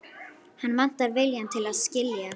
Hann vantar viljann til að skilja.